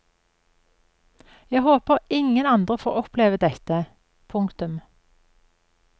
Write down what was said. Jeg håper ingen andre får oppleve dette. punktum